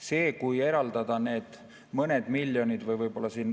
See, kui eraldada need mõned miljonid ...